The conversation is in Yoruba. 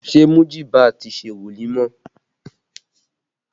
Ṣé Mujiba ti ṣe wolimọ?